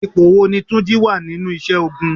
Ipò wo ni túnjí wá nínú isẹ́ ogun?